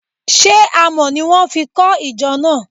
She Àmọ́ ni wọn fi kọ ìjọ náà?